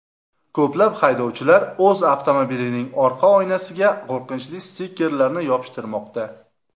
Ko‘plab haydovchilar o‘z avtomobilining orqa oynasiga qo‘rqinchli stikerlarni yopishtirmoqda.